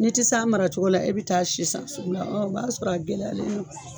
N'i ti s'a mara cogo la e bi taa si san sugu la ɔ b'a sɔrɔ a gɛlɛyara